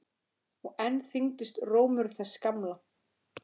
Og enn þyngdist rómur þess gamla.